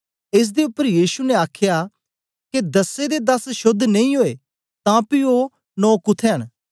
एस दे उपर यीशु ने आखया के दसे दे दस शोद्ध नेई ओए तां पी ओ नौ कुत्थें न